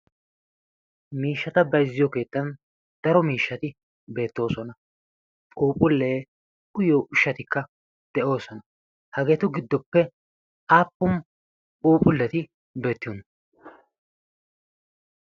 miishshata baizziyo keettan daro miishshati beettoosona quuphullee uyyo ushshatikka de'oosona hageetu giddoppe aappum puuphulleti beettiyon?